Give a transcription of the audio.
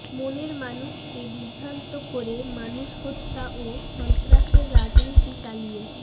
মনের মানুষকে বিভ্রান্ত করে মানুষ হত্যা ও সন্ত্রাসের রাজনীতি চালিয়ে